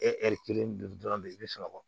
kelen dun dɔrɔn de be sunɔgɔ